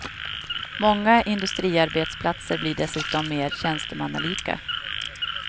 Många industriarbetsplatser blir dessutom mer tjänstemannalika.